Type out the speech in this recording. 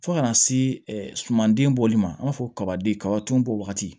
Fo ka na se sumanden bɔli ma an b'a fɔ kabaden kabadun bɔ waati